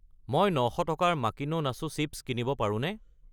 মই 900 টকাৰ মাকিনো নাছো চিপ্ছ কিনিব পাৰোঁনে?